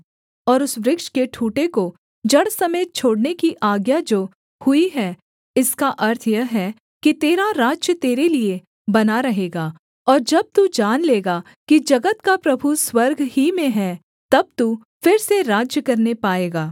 और उस वृक्ष के ठूँठे को जड़ समेत छोड़ने की आज्ञा जो हुई है इसका अर्थ यह है कि तेरा राज्य तेरे लिये बना रहेगा और जब तू जान लेगा कि जगत का प्रभु स्वर्ग ही में है तब तू फिर से राज्य करने पाएगा